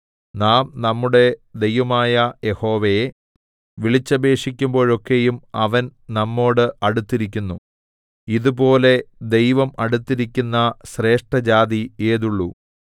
നാം നമ്മുടെ ദൈവമായ യഹോവയെ വിളിച്ചപേക്ഷിക്കുമ്പോഴൊക്കെയും അവൻ നമ്മോട് അടുത്തിരിക്കുന്നു ഇതുപോലെ ദൈവം അടുത്തിരിക്കുന്ന ശ്രേഷ്ഠജാതി ഏതുള്ളു